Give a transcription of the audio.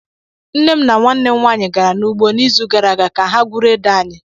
Nne m na nwanne m nwanyị gara n'ugbo n'izu gara aga ka ha ga gwuru ede anyị.